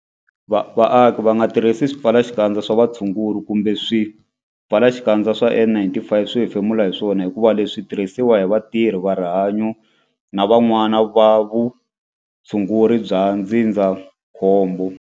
Vaaki va nga tirhisi swipfalaxikandza swa vutshunguri kumbe swipfalaxikandza swa N-95 swo hefemula hi swona hikuva leswi swi tirhisiwa hi vatirhi va rihanyo na van'wana vatirhi va vutshunguri bya ndzindzakhombo.